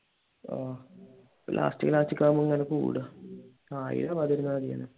ആഹ് last batch ഒക്കെ ആകുമ്പോ അങ്ങനെ കൂടുവാ ആയിരം ആകാതിരുന്നാൽ മതിയാരുന്നു